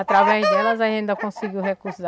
Através delas a gente ainda conseguiu recursos.